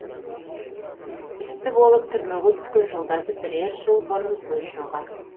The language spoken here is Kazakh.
істі болып түрмеге түскен жолдасы бірер жыл бұрын көз жұмған